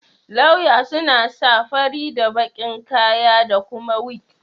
Lauya suna sa fari da baki'n kaya da kuma wig.